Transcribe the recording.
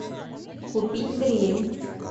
купить дрель